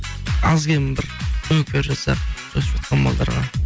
аз кем бір көмек беріп жатсақ өсіп жатқан балаларға